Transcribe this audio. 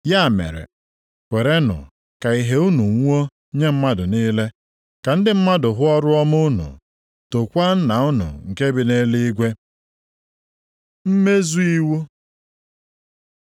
Ya mere, kwerenụ ka ìhè unu nwuo nye mmadụ niile, ka ndị mmadụ hụ ọrụ ọma unu, tookwa Nna unu nke bi nʼeluigwe. Mmezu iwu